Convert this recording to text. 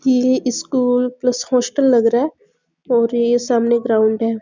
ये school plus hostel लग रहा है और ये सामने ग्राउंड है ।